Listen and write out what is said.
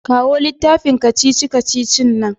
Kawo littafin kacici-kacicin nan.